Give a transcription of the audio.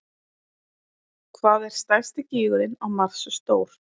Hvað er stærsti gígurinn á Mars stór?